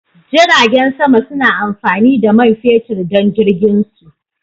Jiragen sama suna amfani da man fetur don jirginsu.